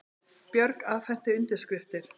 Björk afhenti undirskriftir